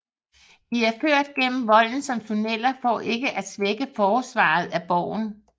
De er ført gennem volden som tunneler for ikke at svække forsvaret af borgen